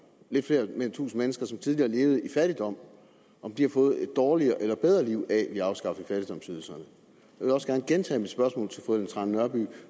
lidt flere end fem tusind mennesker som tidligere levede i fattigdom har fået et dårligere eller bedre liv af at vi har afskaffet fattigdomsydelserne jeg vil også godt gentage mit spørgsmål til fru ellen trane nørby